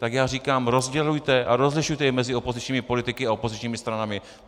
Tak já říkám: Rozdělujte a rozlišujete i mezi opozičními politiky a opozičními stranami.